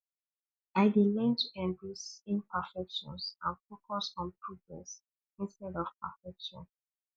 i dey learn to embrace imperfections and focus on progress instead of perfection